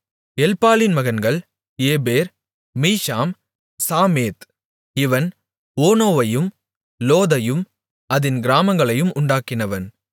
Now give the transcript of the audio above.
எல்பாலின் மகன்கள் Eber Misham Shemed இவன் ஓனோவையும் லோதையும் அதின் கிராமங்களையும் உண்டாக்கினவன்